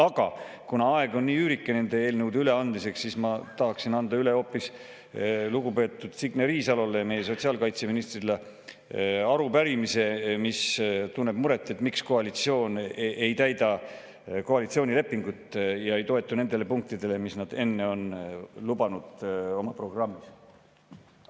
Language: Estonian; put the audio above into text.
Aga kuna aeg eelnõude üleandmiseks on nii üürike, siis ma tahaksin anda üle lugupeetud Signe Riisalole, meie sotsiaalkaitseministrile, arupärimise, mis tunneb muret, miks koalitsioon ei täida koalitsioonilepingut ja ei toetu nendele punktidele, mida nad enne oma programmis lubasid.